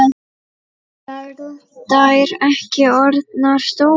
Eru þær ekki orðnar stórar?